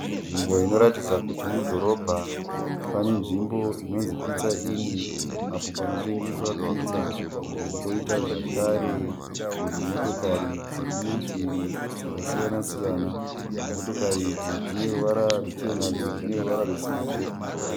Nzvimbo inoratidza kuti mudhorobha. Pane nzvimbo inonzi Pizza Inn apo panotengeswa "pizza" poita zvakare dzimotokari dziri murutivi dzakasiyana siyana. Motokari idzi dzine ruvara ruchena dzimwe dzine ruvara rwesirivheri.